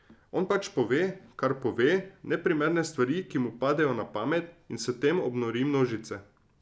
On pač pove, kar pove, neprimerne stvari, ki mu padejo na pamet, in s tem obnori množice.